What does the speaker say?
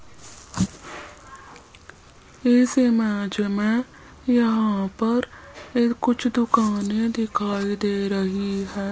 इस इमेज में यहां पर ये कुछ दुकानें दिखाई दे रही है।